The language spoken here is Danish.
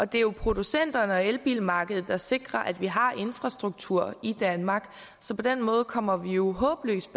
det er jo producenterne og elbilmarkedet der sikrer at vi har infrastruktur i danmark så på den måde kommer vi jo håbløst